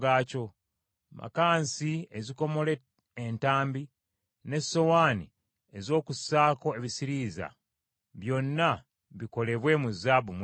Makansi ezikomola entambi, n’essowaani ez’okussaako ebisirinza, byonna bikolebwe mu zaabu mwereere.